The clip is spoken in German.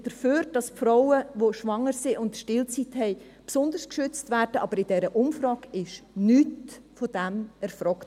Ich bin dafür, dass Frauen, die schwanger sind und Stillzeit haben, besonders geschützt werden, aber in dieser Umfrage wurde nichts davon erfragt.